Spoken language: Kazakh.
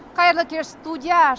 қайырлы кеш студия